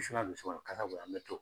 Wusulan don so kɔnɔ kasa be yen an be to